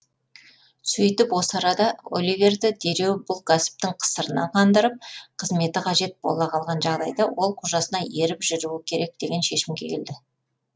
сөйтіп осы арада оливерді дереу бұл кәсіптің қысырына қандырып қызметі қажет бола қалған жағдайда ол қожасына еріп жүруі керек деген шешімге келді